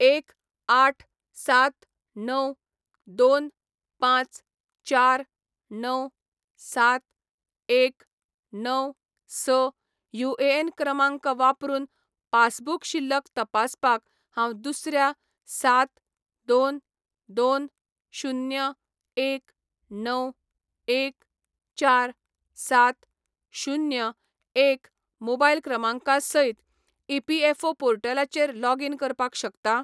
एक, आठ, सात, णव, दोन, पांच, चार, णव, सात, एक, णव, स युएएन क्रमांक वापरून पासबुक शिल्लक तपासपाक हांव दुसऱ्या सात, दोन, दोन, शुन्य, एक, णव, एक, चार, सात, शुन्य, एक मोबायल क्रमांका सयत ईपीएफओ पोर्टलाचेर लॉगीन करपाक शकता ?